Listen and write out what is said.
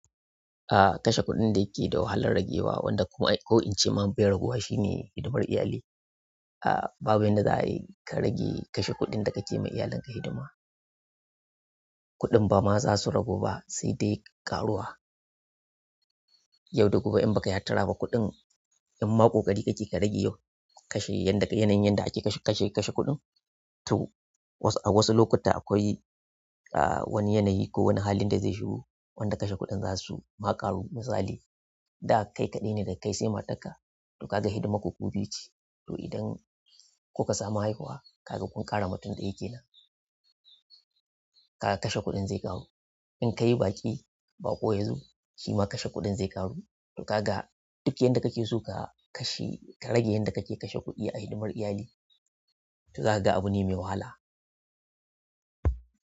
Ah, kashe kuɗin da yake da wahalar ragewa wanda kuma ko incema be raguwa shi ne hidimar iyali. A babu yan da za a yi ka rage kashe kuɗin da kake ma iyalinka hidima. Kuɗin ba ma za su ragu ba sai dai ƙaruwa. Yau da gobe in baka yi hattara ba kuɗin inma koƙari kake ka rage yau kashe yanda yanayin da ake kashe, kashe, kashe kuɗin to wasu, a wasu lokuta akwai wani yanayi ko wani halin da zai shigo wanda kashe kuɗin za su ma ƙaru misali da kai kadaine daga kai sai matarka to ka ga hidimar ku ku biyu ce, toh idan kuka samu haihuwa kaga kun ƙara mutum ɗaya nan. Kaga kashe kuɗin zai ƙaru. Inkayi baki, baƙo yazo shima kashe kuɗin zai ƙaru toh kaga duk yanda kake so ka kashe ka rage yadda kake kashe kuɗi a hidimar iyali toh zakaga abune mai wahala.